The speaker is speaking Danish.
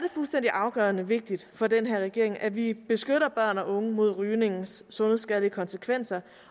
afgørende vigtigt for den her regering at vi beskytter børn og unge mod rygningens sundhedsskadelige konsekvenser